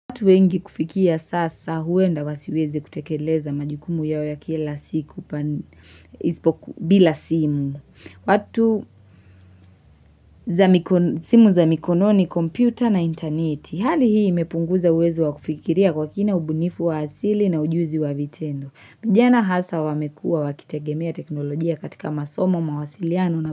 Watu wengi kufikia sasa huenda wasiweze kutekeleza majukumu yao ya kila siku bila simu. Watu simu za mikono ni kompyuta na intaneti. Hali hii imepunguza uwezo wa kufikiria kwa kina ubunifu wa asili na ujuzi wa vitendo. Vijana hasa wamekua wakitegemea teknolojia katika masomo mawasiliano.